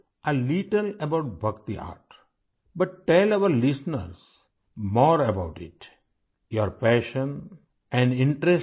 میں نے بھکتی آرٹ کے بارے میں تھوڑا بہت پڑا ہے لیکن ہمارے سامعین کواِس کے بارے میں کچھ اور بتائیں